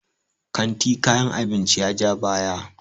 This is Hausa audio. kanti kayan abinci ya ja baya